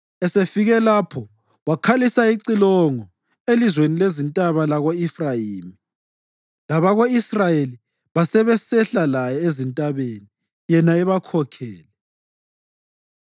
Esefike lapho wakhalisa icilongo elizweni lezintaba lako-Efrayimi, abako-Israyeli basebesehla laye ezintabeni, yena ebakhokhele.